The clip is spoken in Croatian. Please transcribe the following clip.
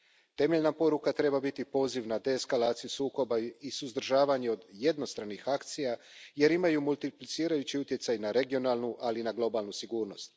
Temeljna poruka treba biti poziv na deeskalaciju sukoba i suzdržavanje od jednostranih akcija jer imaju multiplicirajući utjecaj na regionalnu, ali i na globalnu sigurnost.